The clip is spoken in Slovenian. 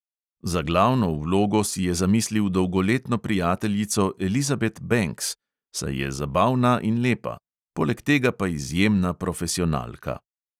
Za glavno vlogo si je zamislil dolgoletno prijateljico elizabet benks, saj je zabavna in lepa, poleg tega pa izjemna profesionalka.